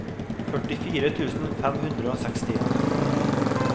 førtifire tusen fem hundre og sekstien